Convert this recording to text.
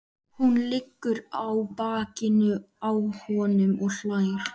Hún liggur á bakinu á honum og hlær.